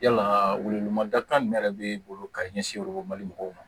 Yalaa welemada min yɛrɛ bɛ e bolo ka ɲɛsin o lo mali mɔgɔw ma